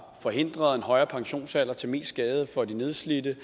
forhindret en højere pensionsalder til mest skade for de nedslidte